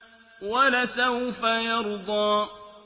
وَلَسَوْفَ يَرْضَىٰ